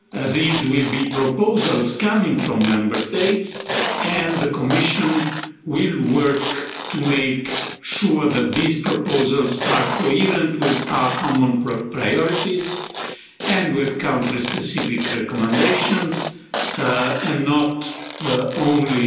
These will be proposals coming from Member States and the Commission will work to make sure that these proposals are coherent with our common priorities and with countless specific recommendations, and not only